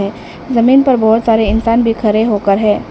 जमीन पर बहुत सारे इंसान भी खड़े होकर हैं।